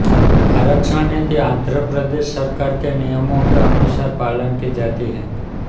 आरक्षण नीति आंध्र प्रदेश सरकार के नियमों के अनुसार पालन की जाती है